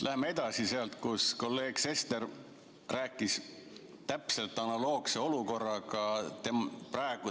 Lähen edasi sealt, millest kolleeg Sester rääkis, mul on täpselt analoogne olukord.